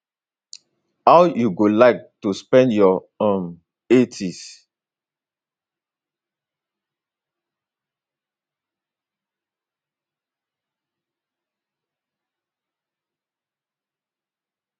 how you go like to spend your um 80s